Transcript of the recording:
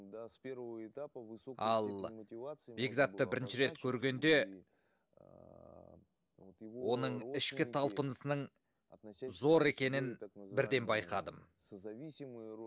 с первого этапа ал бекзатты бірінші рет көргенде оның ішкі талпынысының зор екенін бірден байқадым